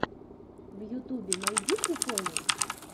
в ютюбе найди приколы